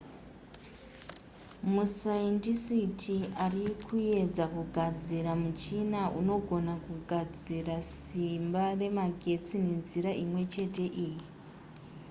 masaindisiti ari kuedza kugadzira muchina unogona kugadzira simba remagetsi nenzira imwe chete iyi